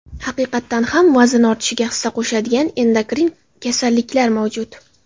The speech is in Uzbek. Haqiqatan ham vazn ortishiga hissa qo‘shadigan endokrin kasalliklar mavjud.